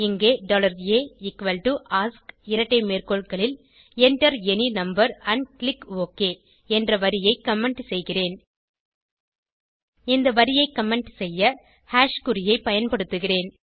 இங்கே aask இரட்டை மேற்கோள்களில் enter any number and click okay என்ற வரியை கமெண்ட் செய்கிறேன் இந்த வரியை கமெண்ட் செய்ய hash குறியைப் பயன்படுத்துகிறேன்